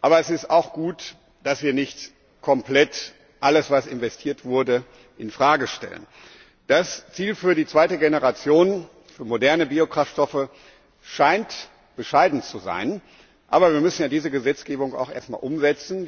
Aber es ist auch gut, dass wir nicht komplett alles, was investiert wurde, in Frage stellen. Das Ziel für die zweite Generation für moderne Biokraftstoffe scheint bescheiden zu sein. Aber wir müssen ja diese Gesetzgebung erst einmal umsetzen.